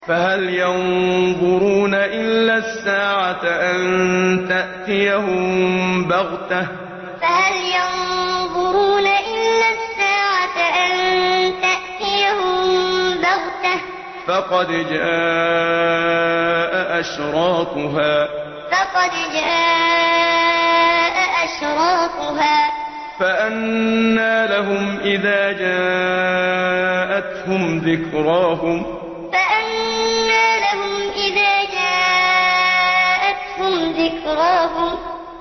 فَهَلْ يَنظُرُونَ إِلَّا السَّاعَةَ أَن تَأْتِيَهُم بَغْتَةً ۖ فَقَدْ جَاءَ أَشْرَاطُهَا ۚ فَأَنَّىٰ لَهُمْ إِذَا جَاءَتْهُمْ ذِكْرَاهُمْ فَهَلْ يَنظُرُونَ إِلَّا السَّاعَةَ أَن تَأْتِيَهُم بَغْتَةً ۖ فَقَدْ جَاءَ أَشْرَاطُهَا ۚ فَأَنَّىٰ لَهُمْ إِذَا جَاءَتْهُمْ ذِكْرَاهُمْ